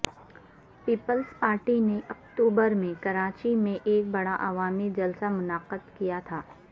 Peoples Party نے اکتوبر میں کراچی میں ایک بڑا عوامی جلسہ منعقد کیا تھا